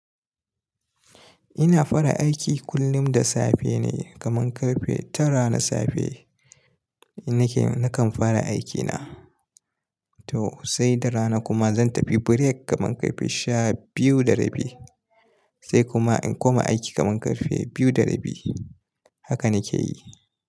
Ina fara aiki kullum da safe ne kaman ƙarfe tara na safe. Nake-- nakan fara aikina. To saida rana kuma zan tafi break kamar ƙarfe sha biyu da rabi sai kuma in koma aiki kamar ƙarfe biyu da rabi. Haka nake yi.